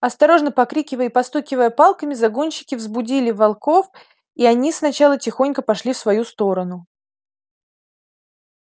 осторожно покрикивая и постукивая палками загонщики взбудили волков и они сначала тихонько пошли в свою сторону